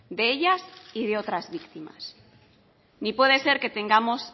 de ellas y de otras víctimas ni puede ser que tengamos